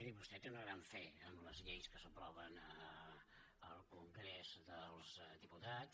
miri vostè té una gran fe en les lleis que s’aproven al congrés dels diputats